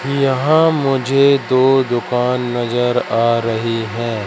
यहां मुझे दो दुकान नजर आ रही हैं।